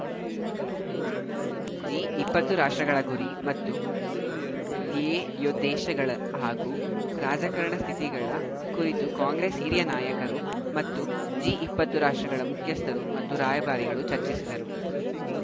G ಇಪ್ಪತ್ತು ರಾಷ್ಟ್ರಗಳ ಗುರಿ ಮತ್ತು ಧ್ಯೇಯೋದ್ದೇಶಗಳ ಹಾಗೂ ರಾಜಕಾರಣದ ಸ್ಥಿತಿಗತಿಗಳ ಕುರಿತು ಕಾಂಗ್ರೆಸ್‌ ಹಿರಿಯ ನಾಯಕರು ಮತ್ತು ಜಿ ಇಪ್ಪತ್ತು ರಾಷ್ಟ್ರಗಳ ಮುಖ್ಯಸ್ಥರು ಮತ್ತು ರಾಯಭಾರಿಗಳು ಚರ್ಚಿಸಿದರು